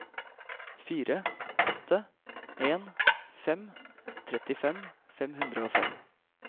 fire åtte en fem trettifem fem hundre og fem